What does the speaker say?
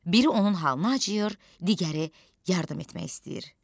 Biri onun halına acıyır, digəri yardım etmək istəyir.